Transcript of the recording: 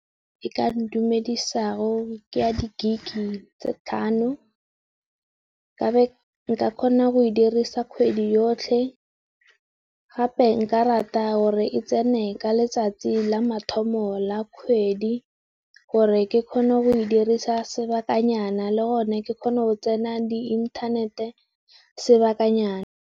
E ka ntumedisa go ke ya di Gig e tse tlhano ka nka kgona go e dirisa kgwedi yotlhe. Gape nka rata gore e tsene ka letsatsi la mathomo la kgwedi gore ke kgone go e dirisa sebakanyana le gone ke kgone go tsena di inthanete sebakanyana.